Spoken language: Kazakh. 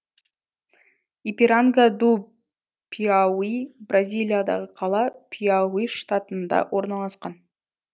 ипиранга ду пиауи бразилиядағы қала пиауи штатында орналасқан